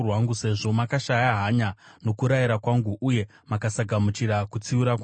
sezvo makashaya hanya nokurayira kwangu, uye mukasagamuchira kutsiura kwangu,